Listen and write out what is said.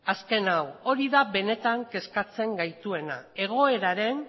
azken hau hori da benetan kezkatzen gaituena egoeraren